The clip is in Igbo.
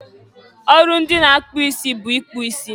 ọrụ ndị na-akpụ isi bụ ịkpụ isi.